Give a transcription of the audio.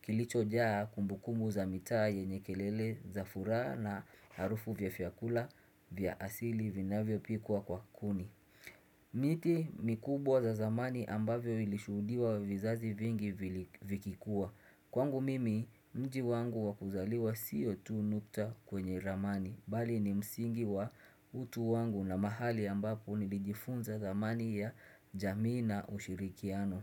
kilichojaa kumbukumbu za mitaa ye nyekelele za furaha na harufu vya vyakula vya asili vinavyo pikwa kwa kuni miti mikubwa ya zamani ambavyo vilishuhudiwa vizazi vingi vikikua Kwangu mimi, mji wangu wakuzaliwa siyo tu nukta kwenye ramani Bali ni msingi wa utu wangu na mahali ambapo nilijifunza dhamani ya jamii na ushirikiano.